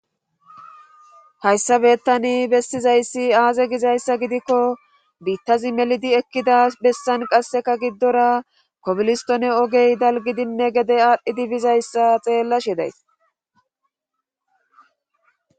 hayssa beettani bessizayssi aazee gizayssa gidiko biitazi melidi ekkida bessan qasseka gidora koblistone ogey dalggidinne gede aadhidi dizaysa xeellashe days.